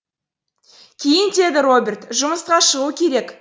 киін деді роберт жұмысқа шығу керек